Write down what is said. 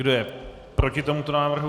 Kdo je proti tomuto návrhu?